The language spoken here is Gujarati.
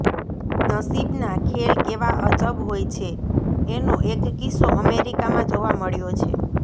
નસીબના ખેલ કેવા અજબ હોય છે એનો એક કિસ્સો અમેરિકામાં જોવા મળ્યો છે